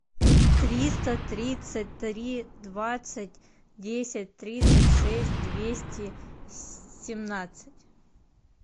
триста тридцать три двадцать десять тридцать шесть двести семнадцать